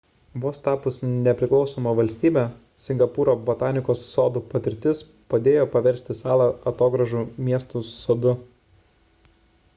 vos tapus nepriklausoma valstybe singapūro botanikos sodų patirtis padėjo paversti salą atogrąžų miestu sodu